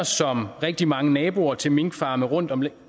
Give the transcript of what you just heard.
som rigtig mange naboer til minkfarme rundtomkring